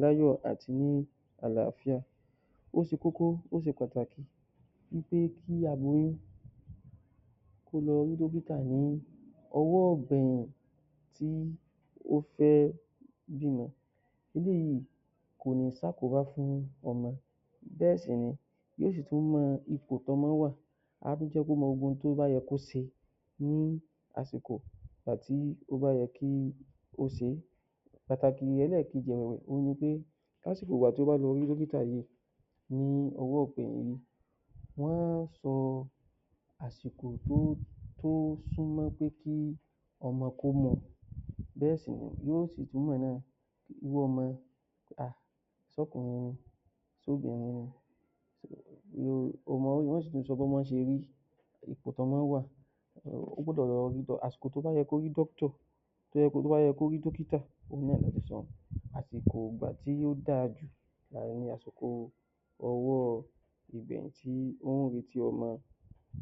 láyọ́ àti ní àlàáfíà ó ṣe koko ó ṣe pàtàkì elẹ́ẹ̀kejìewe pé kí aláboyún kó lọ rí dókítà ní ọwọ́ ìbẹ̀ẹ̀rẹ̀ tí ó fẹ́ rí dókítà ní ọwọ́ ìgbẹ̀yìn yìí wọn ó sọ àsìkò tó sún mọ́ sétí ọmọ kó mú u bẹ́ẹ̀ náà sì tún ni yóò mọ irú ọmọ ṣé ọkùnrin ni? Ṣé obìnrin ni? yóò sọ bí ọmọ ti rí, ipò tí ọmọ wà ó gbọdọ̀ lọ rí, àsìkò tó bá yẹ kó rí tó bá yẹ kó rí dókítà náà ni mo ti sọ yẹn àsìkò ìgbà tí ó dáa jù ni àsìkò ọwọ́ ìgbà tí ó ń retí ọmọ.